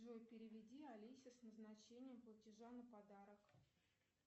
джой переведи олесе с назначением платежа на подарок